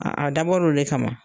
A a dabɔra o de kama